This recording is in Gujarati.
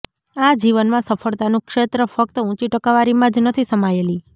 આ જીવનમાં સફળતાનું ક્ષેત્ર ફકત ઉંચી ટકાવારીમાં જ નથી સમાયેલી